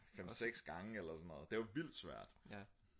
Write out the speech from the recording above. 5/6 gange eller sådan noget det var vildt svært